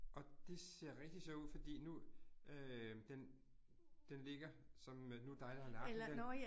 Og det ser rigtig sjovt ud fordi nu øh, den den ligger som øh nu dig, der har lagt den der